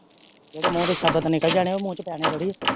ਜਿਹੜੇ ਮੂੰਹ ਤੋਂ ਸ਼ਬਦ ਨਿਕਲ ਜਾਣੇ ਆ ਉਹ ਮੂੰਹ ਚ ਪੈਣੇ ਥੋੜੀ ਆ।